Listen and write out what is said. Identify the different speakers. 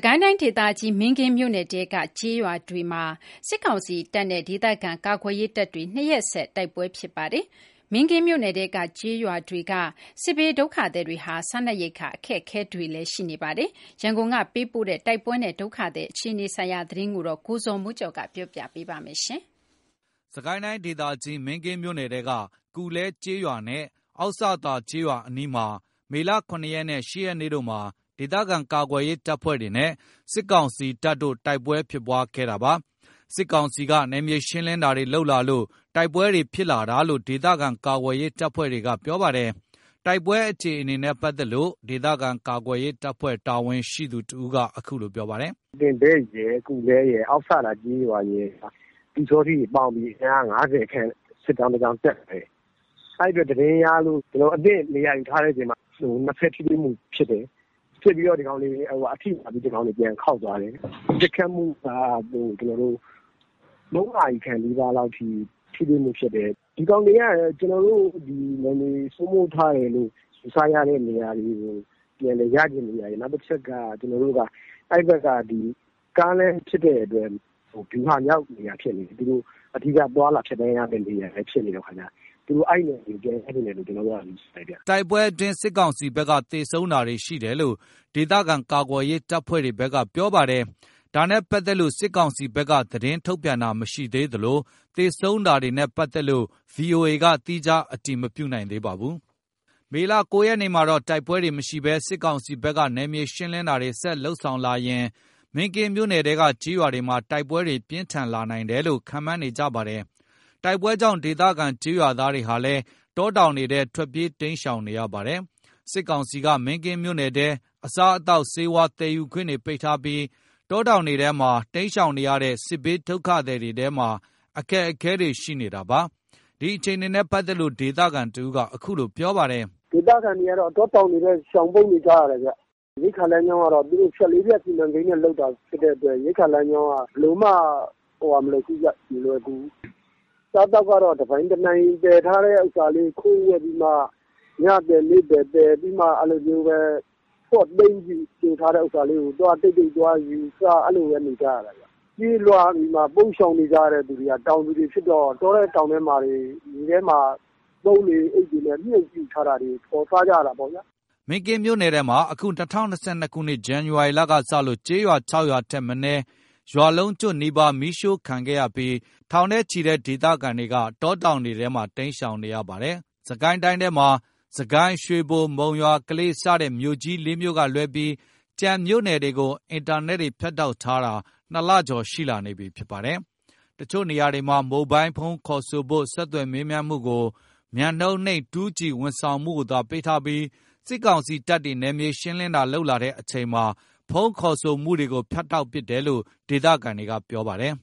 Speaker 1: ကိုင်းတိုင်းဒေသကြီး မင်းကင်းမြို့နယ်ထဲက ကျေးရွာတွေမှာ စစ်ကောင်စီတပ်နဲ့ ဒေသခံကာကွယ်ရေး တပ်တွေ ၂ ရက်ဆက် တိုက်ပွဲဖြစ်ခဲ့ပါတယ်။ မင်းကင်းမြို့နယ်ထဲက ကျေးရွာ စစ်ဘေးဒုက္ခသည်တွေဟာ စားနပ်ရိက္ခာ အခက်အခဲတွေလည်း ရှိနေပါတယ်။ ရန်ကုန်က ပေးပို့လာတဲ့ တိုက်ပွဲနဲ့ဒုက္ခသည်အခြေအနေကို -ကိုဇော်မိုးကျော် ကပြောပြပါမယ်။ စစ်ကိုင်းတိုင်း ဒေသကြီး မင်းကင်းမြို့နယ်ထဲက ကူလဲကျေးရွာနဲ့ အောက်စသာ ကျေးရွာအနီးမှာ မေလ ၇ ရက်နဲ့ ၈ ရက်တို့မှာ ဒေသခံကာကွယ်ရေး တပ်ဖွဲ့တွေနဲ့ စစ်ကောင်စီတို့ တိုက်ပွဲတွေဖြစ်ပွားခဲ့ပါတယ်။ စစ်ကောင်စီက နယ်မြေရှင်းလင်းတာတွေလုပ်လာလို့ တိုက်ပွဲတွေဖြစ်တာလို့ ဒေသခံကာကွယ်ရေး တပ်ဖွဲ့တွေက ပြောပါတယ်။ တိုက်ပွဲအခြေအနေနဲ့ ပတ်သက်လို့ ဒေသခံကာကွယ်ရေး တပ်ဖွဲ့က တာဝန်ရှိသူ တဦးကအခုလိုပြောပါတယ်။
Speaker 2: “တင်ဘက် ၊ ကူလဲရယ် အောက်စသာ ကျေးရွာရယ်က ပျူစောထီးတွေပေါင်းပြီး အင်အား ၅၀ ခန့် စစ်ကြောင်း တကြောင်း တက်လာတယ်။ အဲ့အတွက် သတင်းရလို့ ကျွန်တော်တို့ အသင့်နေရာ ယူထားတဲ့အချိန်မှာ နှစ်ဖက် ထိတွေ့မှုဖြစ်တယ်။ ဖြစ်ပြီး အထိနာပြီး ဒီကောင်တွေပြန်ခေါက်သွားတယ်။ ပစ်ခတ်မှုက ၃ နာရီနီးပါးလောက်ထိ ထိတွေ့မှုဖြစ်တယ်။ ဒီကောင်တွေက ကျွန်တော်တို့ နယ်မြေစိုးမိုးမှုရယထားတယ်လို့ ယူဆရတဲ့နေရာတွေကို ပြန်လည်ရချင်တာရယ် နောက်တချက်က အဲ့ဘက်က ကားလမ်းဖြစ်တဲ့အတွက် ဗျူဟာမြောက်နေရာဖြစ်နေတယ်။ အဓိကသွားလာ ဖြတ်သန်းရမယ့် နေရာဖြစ်နေတော့ အဲ့နေရာကို ပြန်ရချင်လို့ လို့ပဲ ကျွန်တော်တို့ကထင်တ
Speaker 1: ယ်။” တိုက်ပွဲအတွင်း စစ်ကောင်စီဘက်က သေဆုံးတာတွေရှိတယ်လို့ ဒေသခံကာကွယ်ရေး တပ်ဖွဲ့တွေဘက်က ပြောပြီး ဒါနဲ့ပတ်သက်လို့ စစ်ကောင်စီဘက်က သတင်းထုတ်ပြန်တာမရှိသေးသလို သေဆုံးတာတွေနဲ့ ပတ်သက်လို့ ဗွီအိုအေက သီးခြားအတည်မပြုနိုင်ပါဘူး။ မေလ ၉ ရက် နေ့မှာတော့ တိုက်ပွဲတွေ မရှိဘဲ စစ်ကောင်စီဘက်က နယ်မြေရှင်းလင်းတာတွေ ဆက်လက်လုပ်ဆောင်လာရင် မင်းကင်းမြို့နယ်ထဲက ကျေးရွာတွေမှာ တိုက်ပွဲတွေ ပြင်းထန်လာနိုင်တယ်လို့ ခန့်မှန်းနေကြပါတယ်။ တိုက်ပွဲကြောင့် ဒေသခံကျေးရွာသားတွေဟာလည်း တောတောင်တွေထဲ ထွက်ပြေး တိမ်းရှောင်နေရပါတယ်။ စစ်ကောင်စီက မင်းကင်းမြို့နယ်ထဲ အစားအသောက်ဆေးဝါး သယ်ယူခွင့်တွေပိတ်ထားပြီး တောတောင်ထဲတွေမှာ တိမ်းရှောင်နေရတဲ့ စစ်ဘေးဒုက္ခသည်တွေမှာ အခက်အခဲတွေရှိနေတာပါ။ ဒီအခြေအနေနဲ့ ပတ်သက်လို့ ဒေသခံတဦးက အခုလိုပြောပါတယ်။
Speaker 3: “တောတောင်တွေထဲ ရှောင်ပုန်းနေကြရတယ်။ ရိက္ခာလမ်းကြောင်းက သူတို့ ဖြတ် ၄ ဖြတ် စီမံကိန်းနဲ့ လုပ်တာ ဖြစ်တဲ့အတွက် ရိက္ခာလမ်းကြောင်းက ဘယ်လိုမှ မလွယ်ကူဘူး။ အစားအသောက်က တပိုင်တနိုင် သယ်ထားတဲ့ဟာလေး ခူးခပ်ပြီးမှ ညသယ်နေ့သယ် သယ်ပြီးမှ အဲ့လိုမျိုးပဲ ဖွက်သိမ်းထားတဲ့ဟာလေးတွေ တိတ်တိတ်သွားယူစား အဲ့လိုပဲ နေနေကြရတယ်။ ပြေးလွှားပြီး ပုန်းရှောင်နေရတဲ့သူတွေက တောင်သူတွေဖြစ်တော့ တောထဲတောင်ထဲမှာ ပုံးတွေအိတ်တွေနဲ့မြှုပ်ပြီးတော့ စုထားတာတွေ ဖော်စားကြရတာပေါ့။”
Speaker 1: မင်းကင်းမြို့နယ်ထဲမှာ အခု၂၀၂၂ ဇန်နဝါရီကစလို့ ကျေးရွာ ၆ ရွာထက်မနည်း ရွာလုံးကျွတ်နီးပါး မီးရှို့ခံခဲ့ရပြီး ထောင်နဲ့ချီတဲ့ ဒေသခံတွေက တောတောင်တွေထဲမှာ တိမ်းရှောင်နေရပါတယ်။ စစ်ကိုင်းတိုင်းထဲမှာ စစ်ကိုင်း ရွှေဘို မုံရွာ ကလေး စတဲ့ မြို့ကြီး ၄ မြို့ကလွဲပြီး ကျန်မြို့နယ်တွေကို အင်တာနက်တွေ ဖြတ်တောက်ထားတာ ၂ လ ကျော်ရှိလာနေပြီဖြစ်ပါတယ်။ တချို့နေရာတွေမှာ မိုဘိုင်းဖုန်းခေါ်ဆိုဆက်သွယ်မှုကို မြန်နှုန်းနိမ့် 2G ဝန်ဆောင်မှုကိုသာ ပေးထားပြီး စစ်ကောင်စီ တပ်တွေ နယ်မြေရှင်းလင်းတာလုပ်လာတဲ့အချိန်မှာ ဖုန်းခေါ်ဆိုမှုတွေကို ဖြတ်တောက်ပစ်တယ်လို့ ဒေသခံတွေက ပြောပါတယ်